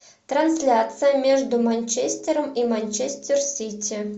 трансляция между манчестером и манчестер сити